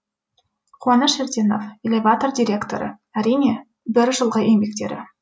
қуаныш ерденов элеватор директоры әрине бір жылғы еңбектері